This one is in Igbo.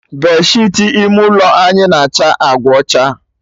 Bedsheetị ime ụlọ anyị na-acha agba ọcha